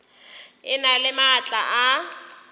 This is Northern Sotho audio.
e na le maatla a